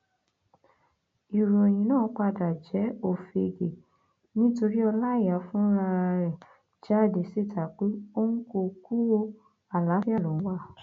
ìròyìn náà padà jẹ òfegè nítorí ọláìyá fúnra ẹ jáde síta pé òun kò kú ọ àlàáfíà lòun wà